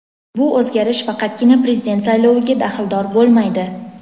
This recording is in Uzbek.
bu o‘zgarish faqatgina Prezident sayloviga daxldor bo‘lmaydi.